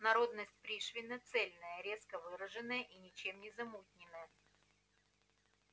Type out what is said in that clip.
народность пришвина цельная резко выраженная и ничем не замутнённая